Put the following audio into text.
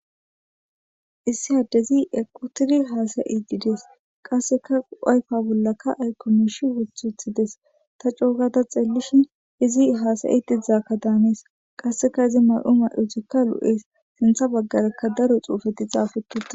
Issi addezi equtidi hasa'idides kaseka ayfe bolaka aykoy miisha wothutides ta coo gada xeelishin izi hasa'idi dizabaka daanes kaseka iza mayo mayotika lo'es sintha bagaraka daro xuufeti xaafetutida.